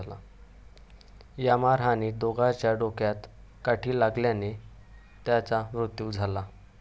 या मारहाणीत दोघांच्याही डोक्यात काठी लागल्याने त्यांचा मृत्यू झाला.